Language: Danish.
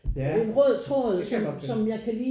Ja det kan jeg godt følge